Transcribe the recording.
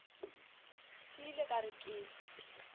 ke ile ka re ke